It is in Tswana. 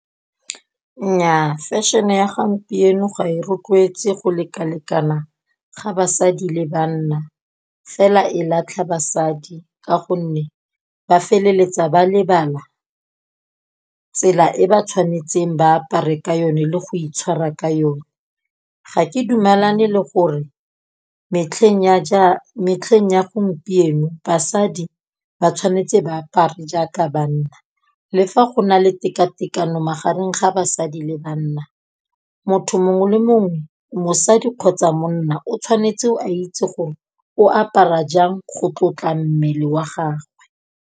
Nnyaa fashion-e ya gampieno ga e rotloetse go lekalekana ga basadi le banna, fela e latlha basadi ka gonne ba feleletsa ba lebala tsela e ba tshwanetseng ba apare ka yone le go itshwara ka yone. Ga ke dumalane le gore metlheng ya gompieno basadi ba tshwanetse ba apare jaaka banna le fa go na le tekatekano magareng ga basadi le banna, motho mongwe le mongwe mosadi kgotsa monna o tshwanetse o a itse gore o apara jang go tlotla mmele wa gagwe.